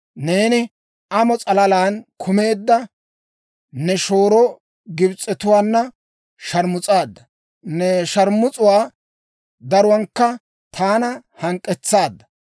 Neeni amo s'alalan kumeedda, ne shooro Gibs'etuwaana sharmus'aadda; ne sharmus'uwaa daruwankka taana hank'k'etsaadda.